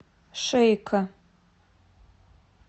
шейко